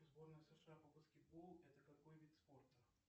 сборная сша по баскетболу это какой вид спорта